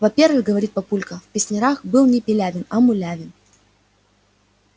во-первых говорит папулька в песнярах был не пилявин а мулявин